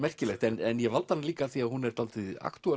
merkilegt en ég valdi hana líka af því hún er dálítið